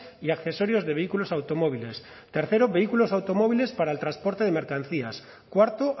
y accesorios de vehículos automóviles tercero vehículos automóviles para el transporte de mercancías cuarto